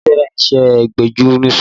Adé fẹ́ràn iṣẹ́ agbẹnuṣọ